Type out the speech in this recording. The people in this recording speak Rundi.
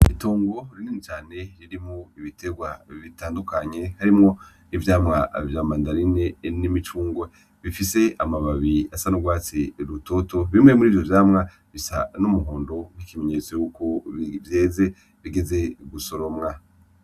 Itongo rinini cane ririmwo ibiterwa bitandukanye harimwo ivyamwa vya mandarine n'imicungwe bifise amababi asa n'urwatsi rutoto. Bimwe muri ivyo vyamwa bisa n'umuhondo nk'ikimenyetso cuko vyeze, bigeze gusoromwa.